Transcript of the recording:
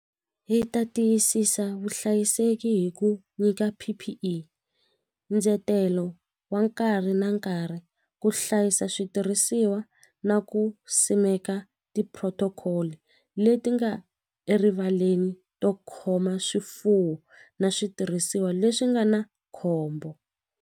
Hi ta tiyisisa vuhlayiseki hi ku nyika P_P_E ndzetelo wa nkarhi na nkarhi ku hlayisa switirhisiwa na ku simeka ti-protocol-i leti nga erivaleni to khoma swifuwo na switirhisiwa leswi nga na khombo.